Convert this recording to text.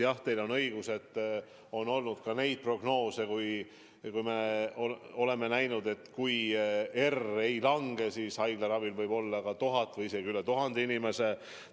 Jah, teil on õigus, on olnud ka neid prognoose, et kui R ei lange, siis haiglaravil võib-olla1000 inimest või isegi rohkem.